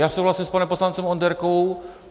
Já souhlasím s panem poslancem Onderkou.